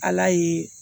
Ala ye